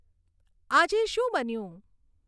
આજે શું બન્યું